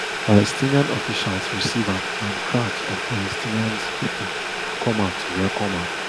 palestinian officials receive am and crowds of palestinians pipo come out to welcome am